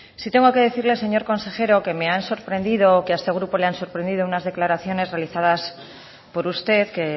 sí tengo que decirle señor consejero que me han sorprendido que a este grupo le han sorprendido unas declaraciones realizadas por usted que